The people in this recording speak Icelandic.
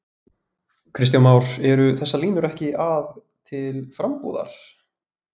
Kristján Már: Eru þessar línur ekki að, til frambúðar?